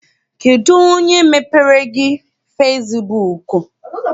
Kedụ onye mepeere gị fesibuuku?